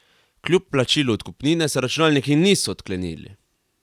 Kljub plačilu odkupnine se računalniki niso odklenili.